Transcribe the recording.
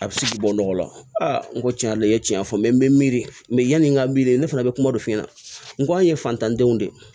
A bɛ se k'i bɔ nɔgɔ la n ko tiɲɛ yɛrɛ la i ye tiɲɛ fɔ n bɛ miiri yanni n ka miiri ne fana bɛ kuma dɔ f'i ɲɛna n ko an ye fantandenw de ye